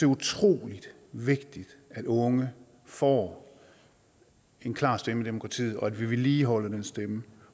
utrolig vigtigt at unge får en klar stemme i demokratiet og at vi vedligeholder den stemme